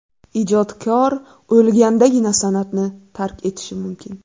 Ijodkor o‘lgandagina san’atni tark etishi mumkin.